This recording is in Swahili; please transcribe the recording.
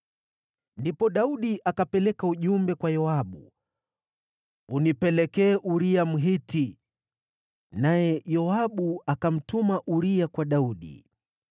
Ndipo Daudi akapeleka ujumbe kwa Yoabu, “Unipelekee Uria, Mhiti.” Naye Yoabu akamtuma Uria kwa Daudi.